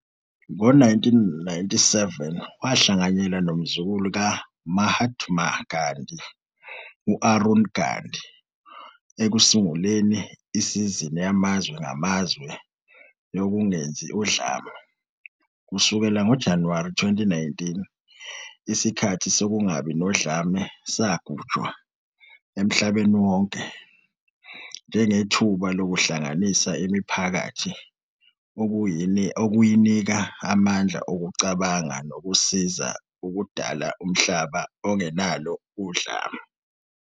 Ngo-1997 wahlanganyela nomzukulu ka -Mahatma Gandhi, u-Arun Gandhi, ekusunguleni "Isizini Yamazwe Ngamazwe Yokungenzi Udlame". Kusukela ngoJanuwari 2019, "iSikhathi Sokungabi Nodlame" sagujwa emhlabeni wonke njengethuba "lokuhlanganisa imiphakathi, ukuyinika amandla okucabanga nokusiza ukudala umhlaba ongenalo udlame."